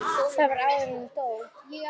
Það var áður en hún dó.